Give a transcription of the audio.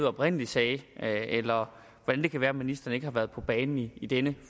oprindelig sagde eller hvordan det kan være at ministeren ikke har været på banen i denne